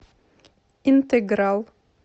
интеграл